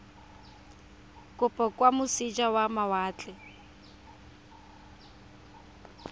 kopo kwa moseja wa mawatle